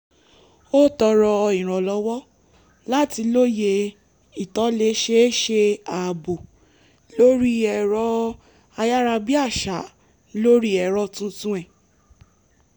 ó tọrọ ìrànlọ́wọ́ láti lóye ìtòlẹ́sẹẹsẹ ààbò lorí ẹ̀rọ ayárabíàṣá lórí ẹ̀rọ tuntun ẹ̀